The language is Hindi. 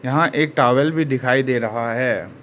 यहां एक टॉवल भी दिखाई दे रहा है।